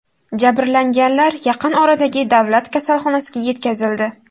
Jabrlanganlar yaqin oradagi davlat kasalxonasiga yetkazildi.